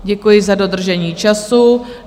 Děkuji za dodržení času.